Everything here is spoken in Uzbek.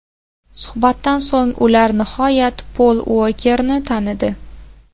Suhbatdan so‘ng ular nihoyat Pol Uokerni tanidi.